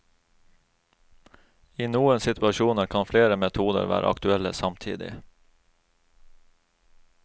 I noen situasjoner kan flere metoder være aktuelle samtidig.